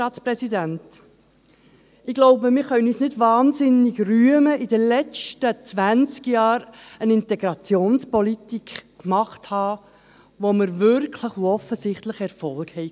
Wir können uns nicht wahnsinnig rühmen, in den letzten zwanzig Jahren eine Integrationspolitik gemacht zu haben, mit welcher wir wirklich und offensichtlich Erfolg haben.